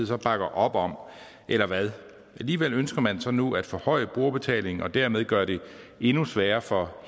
så bakker op om eller hvad alligevel ønsker man så nu at forhøje brugerbetalingen og dermed gøre det endnu sværere for